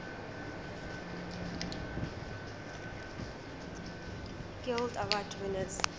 guild award winners